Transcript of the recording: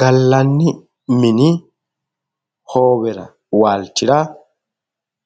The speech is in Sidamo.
gallanni mini hoowera waalchira